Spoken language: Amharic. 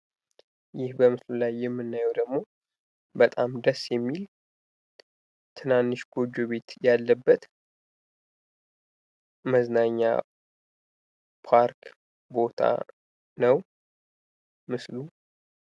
ይህ በምስሉ ላይ የምናየው ደግሞ በጣም ደስ የሚል ትናንሽ ጎጆ ቤት ያለበት መዝናኛ ፓርክ ቦታ ነው ምስሉ።